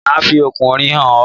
Máà fi ọkùnrin hàn ọ́